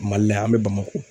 Mali la yan an bɛ Bamakɔ.